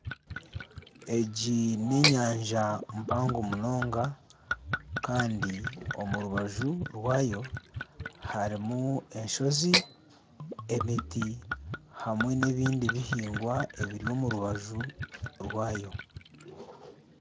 Egi n'enyanja mpango munonga kandi omu rubaju rwayo harimu n'enshozi, emiti hamwe n'ebindi bihingwa ebiri omu rubaju rwayo.